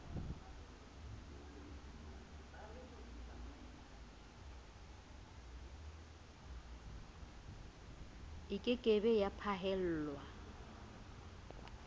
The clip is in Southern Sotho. ke ke be ya phaellwa